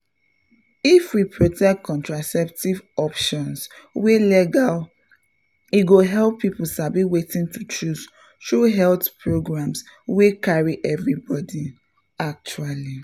if we protect contraceptive options wey legal e go help people sabi wetin to choose through health programs wey carry everybody — actually!